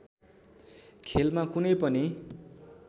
खेलमा कुनै पनि